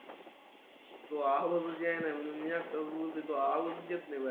तो आवाज देयनाय म्हणून मि अकटाच बोलतोय तो आवाज देत बाहेर